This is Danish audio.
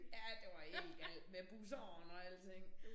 Ja det var helt galt med busserne og alting